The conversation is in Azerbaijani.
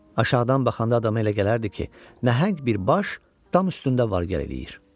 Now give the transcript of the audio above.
Aşağıdan baxanda adama elə gələrdi ki, nəhəng bir baş dam üstündə var-gəl eləyir.